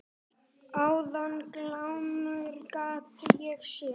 Áðan glámu gat ég séð.